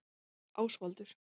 Ásvaldur